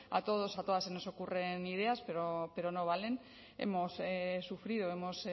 a todos a todas se nos ocurren ideas pero no valen hemos sufrido hemos